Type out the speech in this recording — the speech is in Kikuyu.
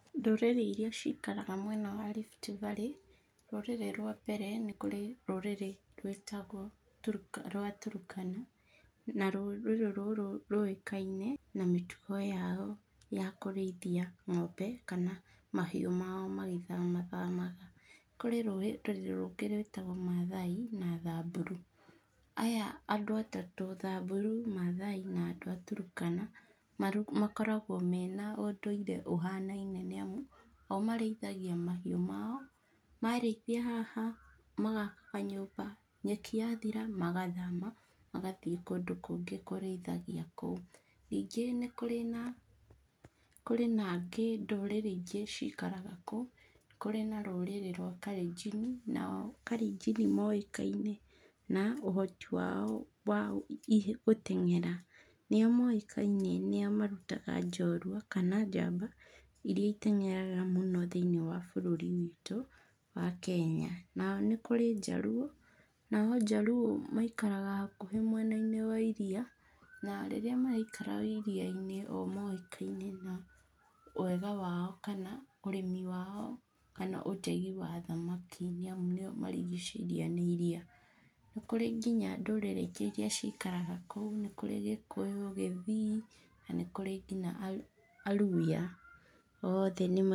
Ndũrĩrĩ iria cikaraga mwena wa Rift Valley, rũrĩrĩ rwa mbere nĩkũrĩ rũrĩrĩ rwĩtagwo rwa Turukana, na rũrĩrĩ rũrũ rũĩkaine na mĩtugo yao ya kũrĩithia ng'ombe kana mahiũ mao magĩthamathamaga. Kũrĩ rũrĩrĩ rũngĩ rwitagwo Maathai na Thamburu. Aya andũ atatu, Thamburu, Maathai na andũ a Turukana, makoragwo mena ũndũire ũhanaine nĩ amu o marĩithagia mahiũ mao. Marĩkia haha, magaka kanyũmba, nyeki yathira, magathama magathiĩ kũndũ kũngĩ kũrĩithagia kũu. Ningĩ nĩkũrĩ na, kũrĩ na angĩ ndũrĩrĩ ingĩ cikaraga kũu, kũrĩ na rũrĩrĩ rwa kalenjini. Nao kalenjini moĩkaine na ũhoti wao wa gũteng'era. Nĩo moĩkaine nĩo marutaga njorũa kana njamba ĩrĩa iteng'eraga mũno thĩinĩ wa bũrũri witũ wa Kenya. Nao nĩkũrĩ njaruũ, nao njaruũ maikaraga hakuhĩ mwena-inĩ wa iria, na rĩrĩa maraikara iria-inĩ o moĩkaine na wega wao kana ũrĩmi wao, kana ũtegi wa thamaki nĩ amu nĩo marigicĩirio nĩ iria. Nĩkũrĩ nginya ndũrĩrĩ ingĩ iria cikaraga kũu, nĩkũrĩ Gĩkũyũ, Gĩthii, na nĩkũrĩ nginya a Luhya. Othe nĩma...